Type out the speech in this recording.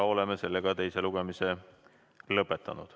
Oleme teise lugemise lõpetanud.